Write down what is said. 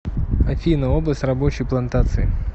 афина область рабочий плантации